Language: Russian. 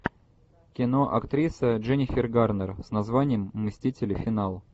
кино актриса дженнифер гарнер с названием мстители финал